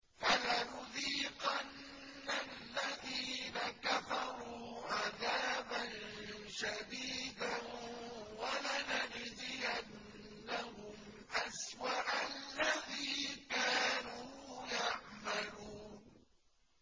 فَلَنُذِيقَنَّ الَّذِينَ كَفَرُوا عَذَابًا شَدِيدًا وَلَنَجْزِيَنَّهُمْ أَسْوَأَ الَّذِي كَانُوا يَعْمَلُونَ